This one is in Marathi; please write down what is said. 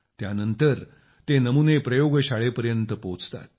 त्यानंतर ते नमुने प्रयोगशाळेपर्यंत पोहोचतात